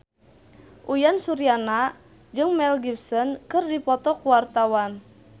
Uyan Suryana jeung Mel Gibson keur dipoto ku wartawan